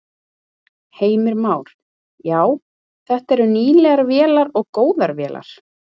Heimir Már: Já, þetta eru nýlegar vélar og góðar vélar?